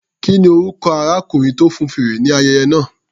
Kí ni orúkọ arákùnrin tó fọn fèrè ní ayẹyẹ náà?